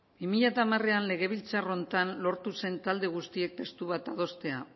bi mila hamarean legebiltzar honetan lortu zen talde guztiek testu bat adostea